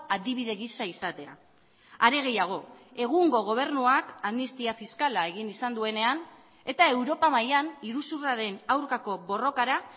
adibide gisa izatea are gehiago egungo gobernuak amnistia fiskala egin izan duenean eta europa mailan iruzurraren aurkako borrokara